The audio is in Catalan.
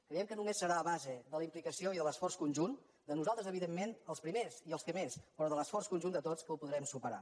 creiem que només serà a base de la implicació i de l’esforç conjunt de nosaltres evidentment els primers i els que més però de l’esforç conjunt de tots que ho podrem superar